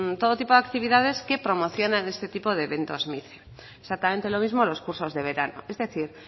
todo tipo de actividades que promocionan este tipo de eventos mice exactamente lo mismo los cursos de verano es decir